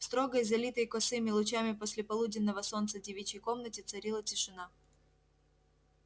в строгой залитой косыми лучами послеполуденного солнца девичьей комнате царила тишина